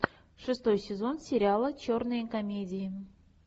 шестой сезон сериала черные комедии